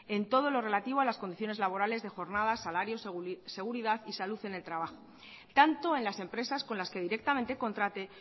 en todo lo relativo a las condiciones laborales de jornadas salarios seguridad y salud en el trabajo tanto en las empresas con las que directamente contrate